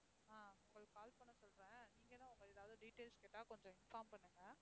ஆஹ் உங்களுக்கு call பண்ண சொல்றேன். நீங்களும் அவங்க ஏதாவது details கேட்டா கொஞ்சம் inform பண்ணுங்க.